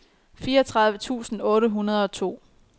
fireogtredive tusind otte hundrede og to